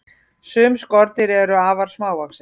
sum skordýr eru afar smávaxin